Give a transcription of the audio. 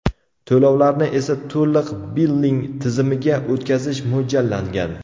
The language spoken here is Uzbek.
To‘lovlarni esa to‘liq billing tizimiga o‘tkazish mo‘ljallangan.